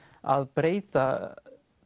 að breyta